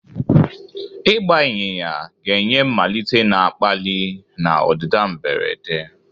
Ịgba ịnyịnya ga-enye mmalite na-akpali na ọdịda mberede.